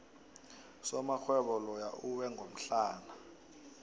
usomarhwebo loya uwe ngomhlana